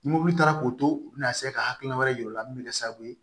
Ni mɔbili taara k'o to u be na ka hakilina wɛrɛ yira u la min bɛ kɛ sababu ye